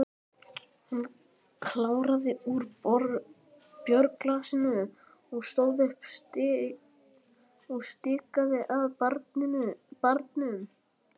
Hann kláraði úr bjórglasinu, stóð upp og stikaði að barnum.